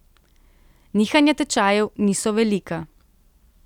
Nihanja tečajev niso velika.